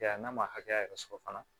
Ya n'a ma hakɛya yɛrɛ sɔrɔ fana